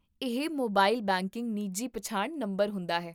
ਇਹ mobile banking ਨਿੱਜੀ ਪਛਾਣ ਨੰਬਰ ਹੁੰਦਾ ਹੈ